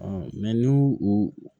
n'u u